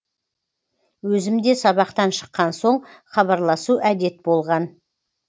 өзімде сабақтан шыққан соң хабарласу әдет болған